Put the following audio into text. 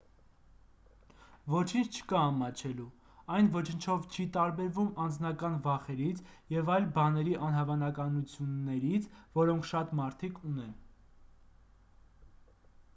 ոչինչ չկա ամաչելու այն ոչնչով չի տարբերվում անձնական վախերից և այլ բաների անհավանություններից որոնք շատ մարդիկ ունեն